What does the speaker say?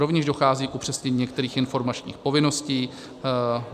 Rovněž dochází k upřesnění některých informačních povinností.